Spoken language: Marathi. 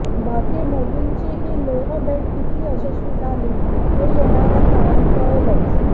बाकी मोदींची ही लेह भेट किती यशस्वी झालीये हे येणाऱ्या काळात कळेलच